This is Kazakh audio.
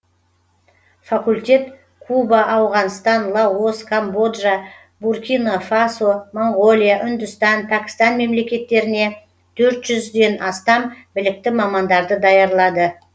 факультет куба ауғанстан лаос камбоджа буркино фасо моңғолия үндістан пәкістан мемлекеттеріне төрт жүзден астам білікті мамандарды даярлады